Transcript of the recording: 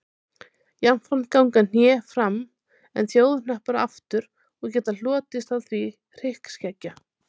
Jafnframt ganga hné fram en þjóhnappar aftur og getur hlotist af því hryggskekkja.